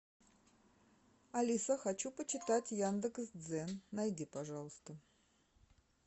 алиса хочу почитать яндекс дзен найди пожалуйста